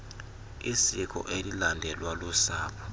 isiko elilandelwa lusapho